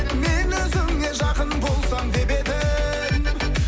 мен өзіңе жақын болсам деп едім